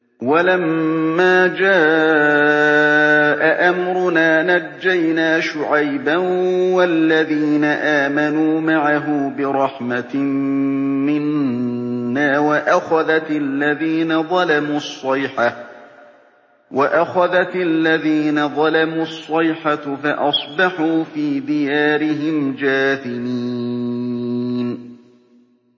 وَلَمَّا جَاءَ أَمْرُنَا نَجَّيْنَا شُعَيْبًا وَالَّذِينَ آمَنُوا مَعَهُ بِرَحْمَةٍ مِّنَّا وَأَخَذَتِ الَّذِينَ ظَلَمُوا الصَّيْحَةُ فَأَصْبَحُوا فِي دِيَارِهِمْ جَاثِمِينَ